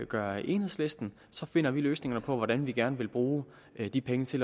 gør enhedslisten så finder vi løsningerne på hvordan vi gerne vil bruge de penge til